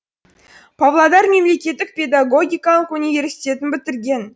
павлодар мемелекеттік педагогикалық университетін бітірген